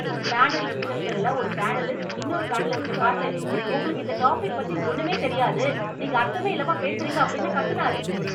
panel டிஸ்கஷன்ல ஒரு panelist இன்னொரு பேனலிஸ்டப் பாத்து "உங்களுக்கு இந்த டாபிக் பத்தி ஒண்ணுமே தெரியாது, நீங்க அர்த்தமே இல்லாம பேசுறீங்க" அப்படின்னு கத்துனாரு